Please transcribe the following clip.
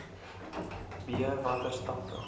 b watter stappe